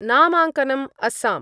नामाङ्कनम् Assam